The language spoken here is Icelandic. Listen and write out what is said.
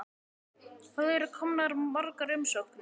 Hvað eru komnar margar umsóknir?